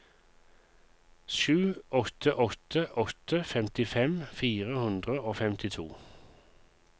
sju åtte åtte åtte femtifem fire hundre og femtito